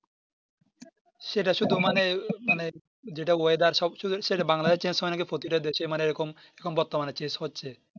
সেটা শুধু মানে মনে যেটা oyedar সব কিছু সেটা Bnagladesh এ Change হয় নাকি প্রতিটা দেশে মানে এরকম বর্তমানে Change হচ্ছে